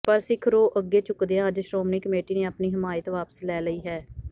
ਪਰ ਸਿੱਖ ਰੋਹ ਅੱਗੇ ਝੁਕਦਿਆਂ ਅੱਜ ਸ਼੍ਰੋਮਣੀ ਕਮੇਟੀ ਨੇ ਆਪਣੀ ਹਮਾਇਤ ਵਾਪਿਸ ਲੈ ਲਈ ਹੈ